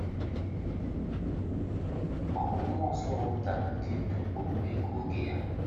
Ọ̀ bụ mmụọ nsọ họpụtara ndị ndú okpukpe nke oge ya?